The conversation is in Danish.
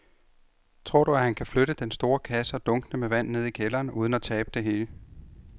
Tror du, at han kan flytte den store kasse og dunkene med vand ned i kælderen uden at tabe det hele?